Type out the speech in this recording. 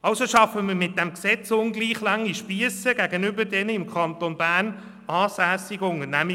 Also schaffen wir mit diesem Gesetz ungleich lange Spiesse zuungunsten der im Kanton Bern ansässigen Unternehmen.